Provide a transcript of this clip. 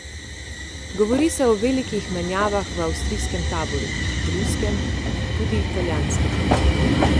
Govori se o velikih menjavah v avstrijskem taboru, ruskem, tudi italijanskem...